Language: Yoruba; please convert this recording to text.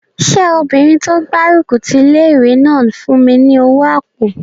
Ṣé obìnrin tó gbárùkù ti ilé-ìwé náà fún mi ní owó àpò?